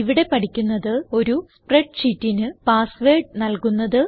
ഇവിടെ പഠിക്കുന്നത് ഒരു സ്പ്രെഡ് ഷീറ്റിന് പാസ് വേർഡ് നല്കുന്നത്